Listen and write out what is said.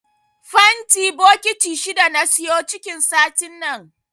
Fanti bokiti shida na siyo cikin satin nan.